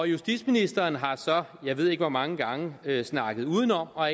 justitsministeren har så jeg ved ikke hvor mange gange snakket udenom og